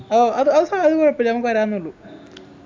ഓഹ് അത് അത് സാരൂല ഇപ്പൊ ഞങ്ങക്ക് വരാന്നെ ഉള്ളു